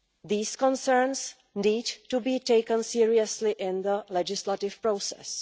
These concerns need to be taken seriously in the legislative process.